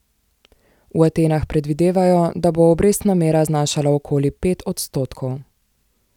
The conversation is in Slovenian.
V Atenah predvidevajo, da bo obrestna mera znašala okoli pet odstotkov.